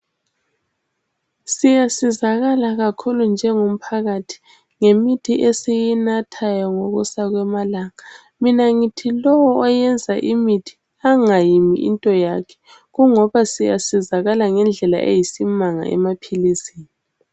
Siyasizakala kakhulu njengomphakathi ngemithi esiyinathayo ngokusa kwamalanga. Mina ngithi lowu oyenza imithi angayimi into yakhe kungoba siyasizakala ngendlela eyisimanga emaphilisini.